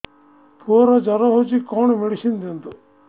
ପୁଅର ଜର ହଉଛି କଣ ମେଡିସିନ ଦିଅନ୍ତୁ